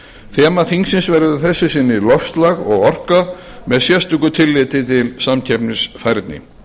þema þingsins verður að þessu sinni loftslag og orka með sérstöku tilliti til samkeppnisfærni